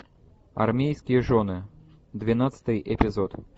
армейские жены двенадцатый эпизод